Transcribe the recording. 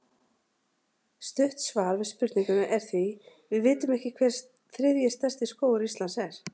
Stutt svar við spurningunni er því: Við vitum ekki hver þriðji stærsti skógur Íslands er.